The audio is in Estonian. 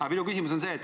Aga minu küsimus on see.